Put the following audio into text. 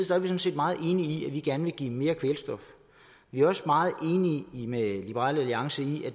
sådan set meget enige i at vi gerne vil give mere kvælstof vi er også meget enige med liberal alliance i at